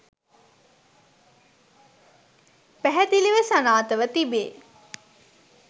පැහැදිලිව සනාථ ව තිබේ.